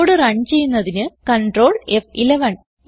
code run ചെയ്യുന്നതിന് control ഫ്11